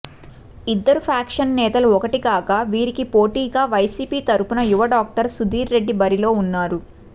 ఇద్దరు ఫ్యాక్షన్ నేతలు ఒక్కటి కాగా వీరికి పోటీగా వైసీపీ తరపున యువ డాక్టర్ సుధీర్ రెడ్డి బరిలో ఉన్నారు